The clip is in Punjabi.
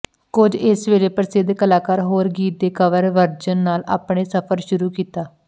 ਕੁਝ ਇਸ ਵੇਲੇ ਪ੍ਰਸਿੱਧ ਕਲਾਕਾਰ ਹੋਰ ਗੀਤ ਦੇ ਕਵਰ ਵਰਜਨ ਨਾਲ ਆਪਣੇ ਸਫ਼ਰ ਸ਼ੁਰੂ ਕੀਤਾ